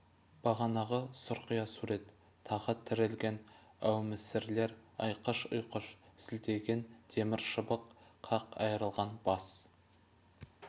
бағанағы сұрқия сурет тағы тірілген әумесірлер айқыш-ұйқыш сілтеген темір шыбық қақ айырылған бас